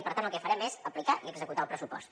i per tant el que farem és aplicar i executar el pressupost